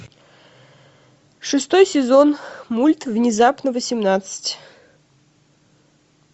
шестой сезон мульт внезапно восемнадцать